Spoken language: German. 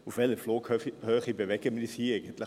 Auf welcher Flughöhe bewegen wir uns hier eigentlich?